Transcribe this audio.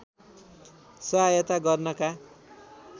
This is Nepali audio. सहायता गर्नका